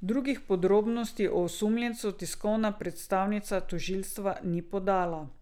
Drugih podrobnosti o osumljencu tiskovna predstavnica tožilstva ni podala.